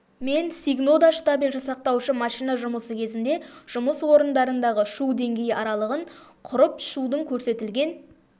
мен сигнода штабель жасақтаушы машина жұмысы кезінде жұмыс орындарындағы шу деңгейі аралығын құрып шудың көрсетілген